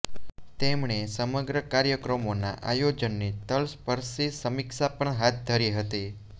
તેમણે સમગ્ર કાર્યક્રમોના આયોજનની તલસ્પર્શી સમીક્ષા પણ હાથ ધરી હતી